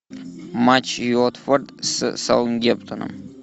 матч уотфорд с саутгемптоном